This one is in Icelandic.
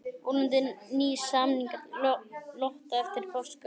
Vonandi ný samningalota eftir páska